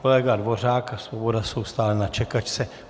Kolega Dvořák a Svoboda jsou stále na čekačce.